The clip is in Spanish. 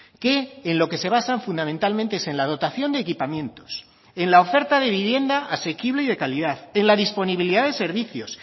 que en lo que se basan fundamentalmente es en la dotación de equipamientos en la oferta de vivienda asequible y de calidad en la disponibilidad de servicios